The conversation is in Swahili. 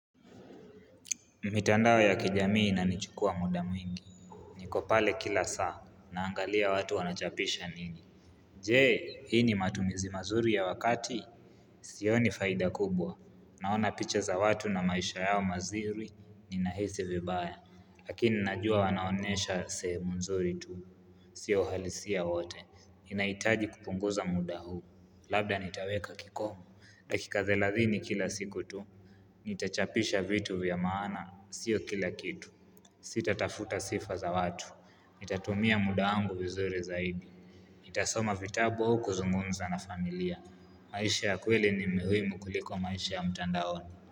Mitandao ya kijamii inanichukua muda mwingi. Nikopale kila saa, naangalia watu wanachapisha nini. Je, hii ni matumizi mazuri ya wakati. Sioni faida kubwa. Naona picha za watu na maisha yao mazuri, ninahisi vibaya. Lakini najua wanaonesha sehemu nzuri tu. Sio uhalisia wote. Ninahitaji kupunguza muda huu. Labda nitaweka kikomo. Dakika thelathini kila siku tu. Nita chapisha vitu vyamaana, sio kila kitu Sita tafuta sifa za watu Nitatumia muda wangu vizuri zaidi Nitasoma vitabu au kuzungumza na familia maisha ya kweli ni muhimu kuliko maisha ya mtandaoni.